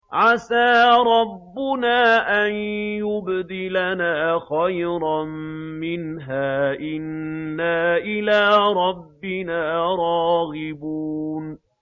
عَسَىٰ رَبُّنَا أَن يُبْدِلَنَا خَيْرًا مِّنْهَا إِنَّا إِلَىٰ رَبِّنَا رَاغِبُونَ